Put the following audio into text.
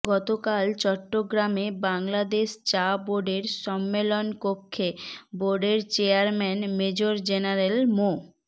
গতকাল চট্রগামে বাংলাদেশ চা বোর্ডের সম্মেলন কক্ষে বোর্ডের চেয়ারম্যান মেজর জেনারেল মো